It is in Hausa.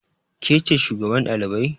Ke ce shugaban ɗalibai?